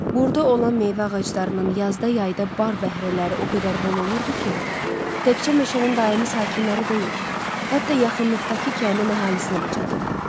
Burda olan meyvə ağaclarının yazda, yayda bar bəhrələri o qədər bol olurdu ki, təkcə meşənin daimi sakinləri deyil, hətta yaxınlıqdakı kəndin əhalisinə də çatırdı.